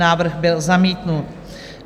Návrh byl zamítnut.